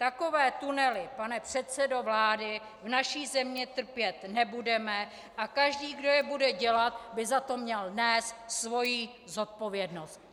Takové tunely, pane předsedo vlády, v naší zemi trpět nebudeme a každý, kdo je bude dělat, by za to měl nést svoji zodpovědnost.